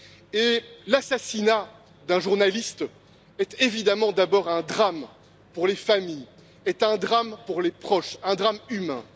Et l'assassinat d'un journaliste est évidemment d'abord un drame pour les familles, est un drame pour les proches, un drame humain.